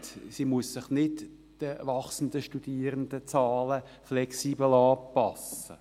Sie muss sich nicht den wachsenden Studierendenzahlen flexibel anpassen.